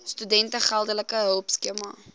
studente geldelike hulpskema